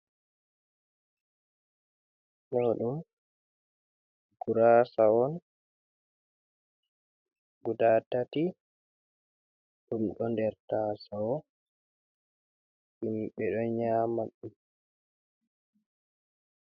Ɗo ɗum gurasa on guda tati ɗum ɗo nder tasawo himɓe ɗo nyama ɗum.